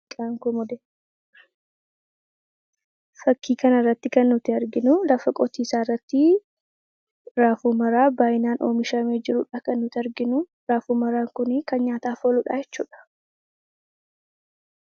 Fakkii kana irratti kan nuti arginu, lafa qotiisaa irrattii raafuu maraa baayyinaan oomishameedha Kan nuti arginu. Raafuu maraan Kun kan nyaataaf ooluudha jechuudha.